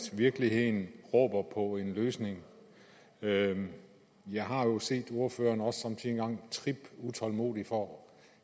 virkeligheden råber på en løsning jeg har jo set ordføreren somme tider trippe utålmodigt for